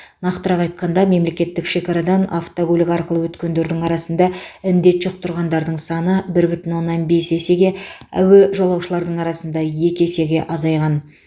нақтырақ айтқанда мемлекеттік шекарадан автокөлік арқылы өткендердің арасында індет жұқтырғандардың саны бір бүтін оннан бес есеге әуе жолаушылардың арасында екі есеге азайған